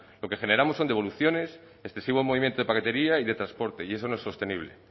lo que generamos son devoluciones excesivo movimiento de paquetería y de transporte y eso no es sostenible